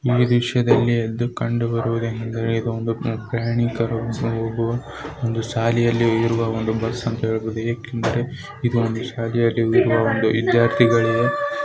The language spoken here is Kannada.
ಈ ದೃಶ್ಯದಲ್ಲಿ ಎದ್ದು ಕಂಡು ಬರುವುದು ಏನೆಂದರೆ ಇದು ಒಂದು ಪ್ರಯಾಣಿಕರು ಬಸ್ ಒಂದು ಶಾಲೆಯಲ್ಲಿ ಇರುವ ಒಂದು ಬಸ್ ಅಂತ ಹೇಳಬಹುದು. ಏಕೆಂದರೆ ಇದು ಒಂದು ಶಾಲೆಯಲ್ಲಿರುವ ವಿದ್ಯಾರ್ಥಿಗಳು --